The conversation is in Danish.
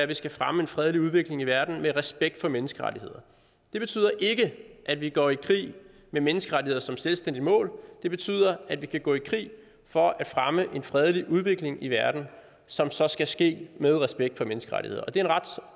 vi skal fremme en fredelig udvikling i verden med respekt for menneskerettigheder det betyder ikke at vi går i krig med menneskerettigheder som selvstændigt mål det betyder at vi kan gå i krig for at fremme en fredelig udvikling i verden som så skal ske med respekt for menneskerettigheder og det er en ret